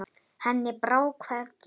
Henni brá hvergi.